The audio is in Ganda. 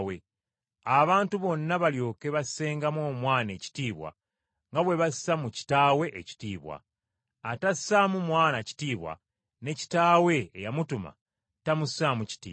abantu bonna balyoke bassengamu Omwana ekitiibwa nga bwe bassa mu Kitaawe ekitiibwa. Atassaamu Mwana kitiibwa, ne Kitaawe eyamutuma tamussaamu kitiibwa.